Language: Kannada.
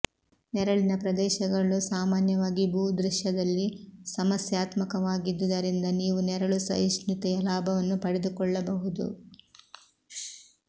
ನೆರಳಿನ ಪ್ರದೇಶಗಳು ಸಾಮಾನ್ಯವಾಗಿ ಭೂದೃಶ್ಯದಲ್ಲಿ ಸಮಸ್ಯಾತ್ಮಕವಾಗಿದ್ದುದರಿಂದ ನೀವು ನೆರಳು ಸಹಿಷ್ಣುತೆಯ ಲಾಭವನ್ನು ಪಡೆದುಕೊಳ್ಳಬಹುದು